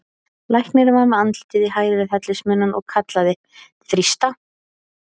Læknirinn var með andlitið í hæð við hellismunnann og kallaði: þrýsta!